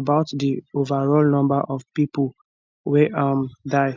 about di overall number of pipo wey um die